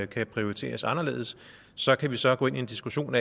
kan prioriteres anderledes så kan vi så gå ind i en diskussion